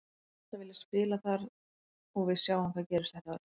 Ég hef alltaf viljað spila þar og við sjáum hvað gerist þetta árið.